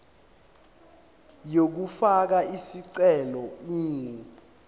yokufaka isicelo ingu